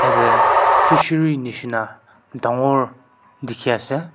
yateh fishining misna dangor dekhi ase.